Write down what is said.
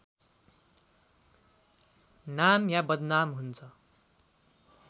नाम या बदनाम हुन्छ